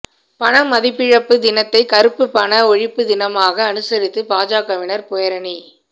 பணமதிப்பிழப்பு தினத்தை கருப்பு பண ஒழிப்பு தினமாக அனுசரித்து பாஜகவினர் பேரணி